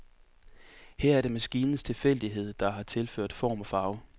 Her er det maskinens tilfældighed, der har tilført form og farve.